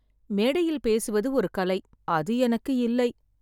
மேடையில் பேசுவது ஒரு கலை. அது எனக்கு இல்லை.